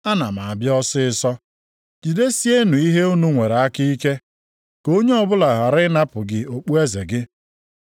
Ana m abịa ọsịịsọ. Jidesienụ ihe unu nwere aka ike, ka onye ọbụla ghara ịnapụ gị okpueze gị.